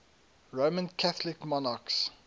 roman catholic monarchs